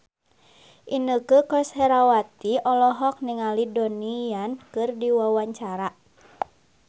Inneke Koesherawati olohok ningali Donnie Yan keur diwawancara